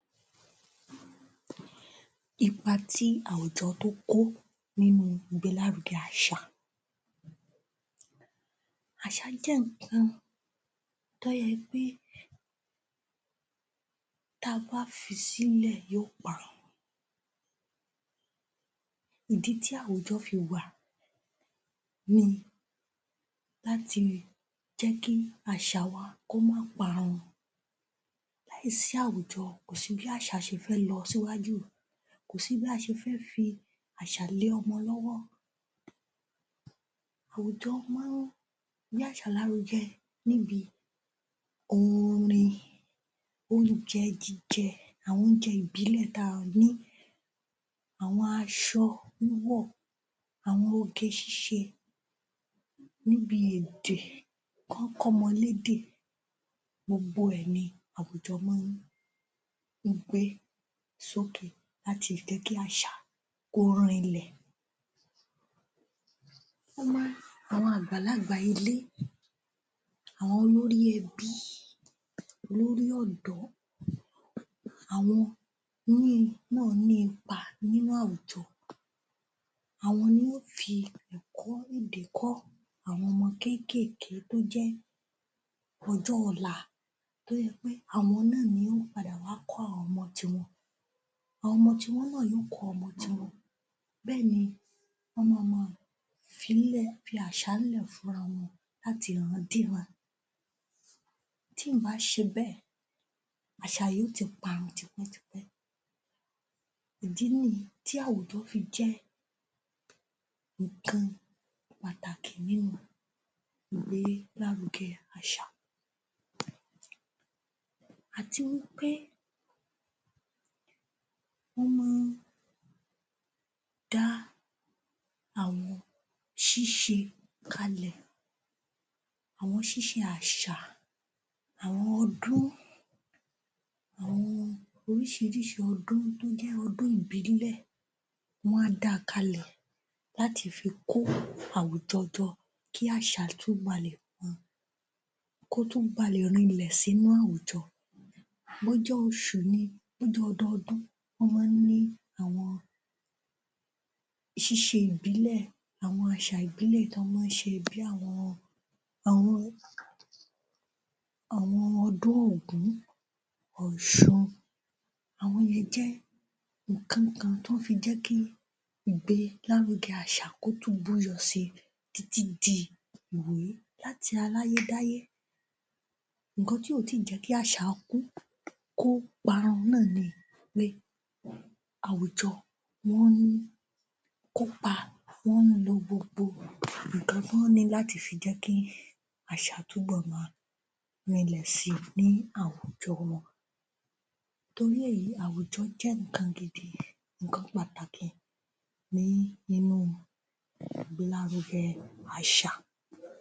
Ipá tí àwùjọ tó kó nínú ìgbélárugẹ àṣà Àṣà jẹ́ nǹkan tó yẹ pé ta bá fisílẹ̀ yóò parun. Ìdí tí àwùjọ fi wà ni láti jẹ́kí àṣà wa kó má parun. Láì sí àwùjọ, kò sí bí àṣà ṣe fẹ́ lọ síwájú, kò sí bí a ṣe fẹ́ fi àṣà lé ọmọ lọ́wọ́. Àwùjọ máa ń gbé àṣà lárúgẹ níbi oorin, oúnjẹ jíjẹ àwọn oúnjẹ ìbílẹ̀ táa ni, àwọn aṣọ wíwò, àwọn oge-ṣíṣe níbi èdè, kán kọ́mọ lédè. Gbogbo ẹ̀ ni àwùjọ máa ń gbé sókè láti jẹ́kí àṣà kò rinlẹ̀. Ó máa n, àwọn àgbàlagbà ilé, àwọn olórí ẹbí, olórí ọ̀dọ́, àwọn ní ipa nínú àwùjọ, àwọn ní ó fi ẹ̀kọ́ èdè kọ́ àwọn ọmọ kéékèèké tó yẹ ọjọ́ ọ̀la tó yẹ pé àwọn náà ni ó ń padà wá kọ́ àwọn ọmọ tiwọn. Àwọn ọmọ tiwọn náà yóò kọ́ ọmọ tiwọn. Bẹ́ẹ̀ ni wọ́n mama fíílẹ̀, fi àṣà lẹ̀ fúnra wọn láti ìrandíran. Tí ǹ bá ṣebẹ́ẹ̀, àṣà yóò ti parun tipẹ́tipẹ́. Ìdí nìyí tí àwùjọ fi jẹ́ nǹkan pàtàkì nínú ìgbélárugẹ àṣà. Àti wí pé wọ́n máa ń dá àwọn ṣíṣe kalẹ̀, àwọn ṣíṣe àṣà, àwọn ọdún, àwọn oríṣiríṣi ọdún tó jẹ́ ọdún-ìbílẹ̀, wọ́n á da kalẹ̀ láti fi kó àwùjọ jọ kí àṣà tún balè um kó tún balè rinlẹ̀ sínú àwùjọ. Bó jẹ́ oṣù ni bó jẹ́ ọdọọdún, wọ́n máa ń ní àwọn ṣíṣe ìbílẹ̀, àwọn àṣà ìbílẹ̀ tán máa ń ṣe bí àwọn àwọn àwọn ọdún ògún, òṣun, àwọn yìí jẹ́ nǹkan kan tó fi jẹ́kí ìgbélárugẹ àṣà kó tún búyọ si títí di láti aláyé dáyé nǹkan tí ò tí jẹ́kí àṣà kú, kó parun náà ni pé àwùjọ wọ́n ń kópa wọ́n lo gbogbo nǹkan tán ní láti fi jẹ́kí àṣà tún bò máa rinlẹ̀ si ní àwùjọ wọn. Torí èyí, àwùjọ jẹ́ nǹkan gidi nǹkan pàtàkì ní inú ìgbélárugẹ àṣà.